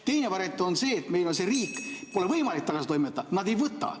Teine variant on see, et on selline riik, kuhu pole võimalik kedagi tagasi toimetada, nad ei võta.